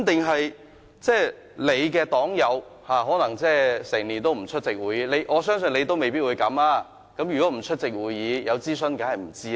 可能你的黨友整年都不出席會議，我相信你未必會這樣，但他們如不出席會議，當然不知道有進行諮詢。